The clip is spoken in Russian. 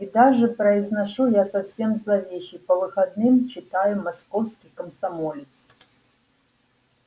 и даже произношу я совсем зловеще по выходным читаю московский комсомолец